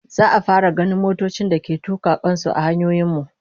Za'a fara ganin motocin da ke tuka kan su a hanyoyin mu